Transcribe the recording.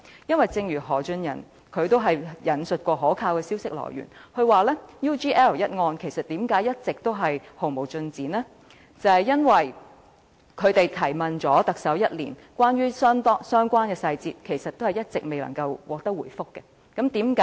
因為正如何俊仁亦曾引述可靠的消息來源，解釋 UGL 一案一直毫無進展的原因，正在於即使已向特首查詢相關細節，但卻整整一年也未能得到相關的答覆。